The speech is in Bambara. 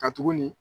Ka tuguni